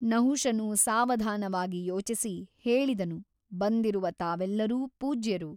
ನಹುಷನು ಸಾವಧಾನವಾಗಿ ಯೋಚಿಸಿ ಹೇಳಿದನು ಬಂದಿರುವ ತಾವೆಲ್ಲರು ಪೂಜ್ಯರು.